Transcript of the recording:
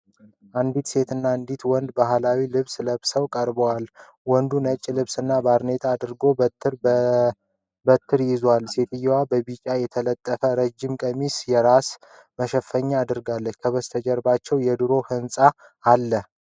አንድ ወንድ እና አንዲት ሴት በባህላዊ ልብስ ለብሰው ቀርበዋል፡፡ ወንዱ ነጭ ልብስና ባርኔጣ አድርጎ በትረ በትር ይዟል፡፡ ሴትየዋ በቢጫ የተጠለፈ ረዥም ቀሚስና የራስ መሸፈኛ አድርጋለች፡፡ ከበስተጀርባው የድሮ ህንጻ አለ፡፡